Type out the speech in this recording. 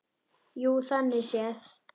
Jú, þannig séð.